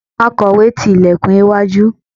akowe ti ilekun iwájú